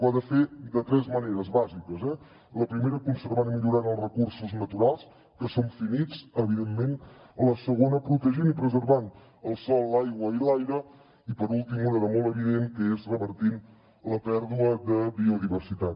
ho ha de fer de tres maneres bàsiques la primera conservant i millorant els recursos naturals que són finits evidentment la segona protegint i preservant el sòl l’aigua i l’aire i per últim una de molt evident que és revertint la pèrdua de biodiversitat